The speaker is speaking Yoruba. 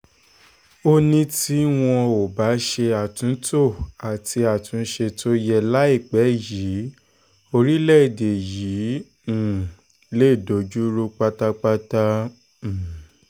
ó ní tí wọn ò bá ṣe àtúntò àti àtúnṣe tó yẹ láìpẹ́ yìí orílẹ̀-èdè yìí um lè dojú rú pátápátá um